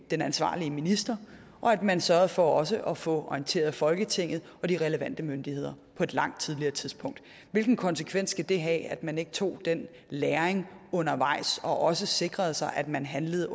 den ansvarlige minister og at man sørgede for også at få orienteret folketinget og de relevante myndigheder på et langt tidligere tidspunkt hvilken konsekvens skal det have at man ikke tog den læring undervejs og også sikrede sig at man handlede